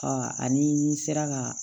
ani n sera ka